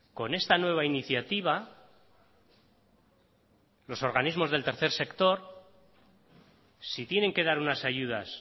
con esta nueva iniciativa los organismos del tercer sector si tienen que dar unas ayudas